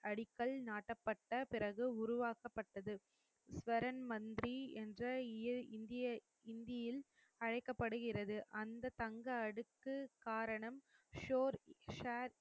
அடிக்கல் நாட்டப்பட்ட பிறகு உருவாக்கப்பட்டது. ஸ்வரன் மந்திரி என்ற இந்திய இந்தியில் அழைக்கப்படுகிறது அந்த தங்க அடுக்கு காரணம் சோர் ஷேர் அடிக்கல் நாட்டப்பட்ட பிறகு உருவாக்கப்பட்டது